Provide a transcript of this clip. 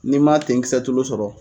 N'i ma tenkisɛ tulu sɔrɔ